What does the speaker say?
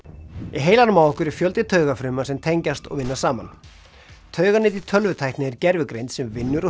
heilanum á okkur er fjöldi taugafrumna sem tengjast og vinna saman tauganet í tölvutækni er gervigreind sem vinnur og